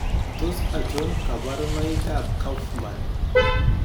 Tos achon kabarunaik ab Kaufman ?